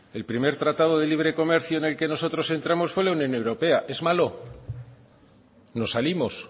el primer tratado de libre comercio en el que nosotros entramos fue en la unión europea es malo nos salimos